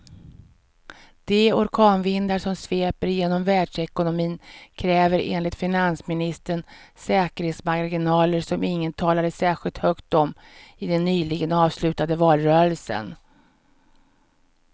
De orkanvindar som sveper genom världsekonomin kräver enligt finansministern säkerhetsmarginaler som ingen talade särskilt högt om i den nyligen avslutade valrörelsen.